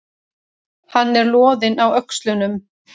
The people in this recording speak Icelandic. Hann er loðinn á öxlunum.